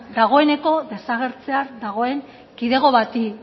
dagoeneko desagertzear dagoen kidego bati